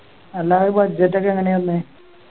അല്ല അത് Budget ഒക്കെ എങ്ങനെയാ വന്നേ